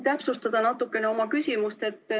Ma tahan natukene oma küsimust täpsustada.